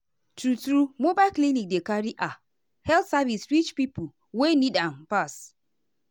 true-true mobile clinic dey carry ah health service reach pipo wey need am pass.